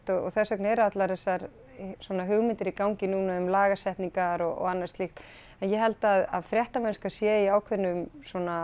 og þess vegna eru allar þessar svona hugmyndir í gangi núna um lagasetningar og annað slíkt en ég held að fréttamennska sé í svona ákveðnum